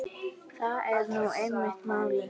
Það er nú einmitt málið.